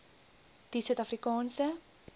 die suid afrikaanse